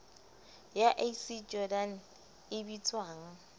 ya ac jordan e bitswang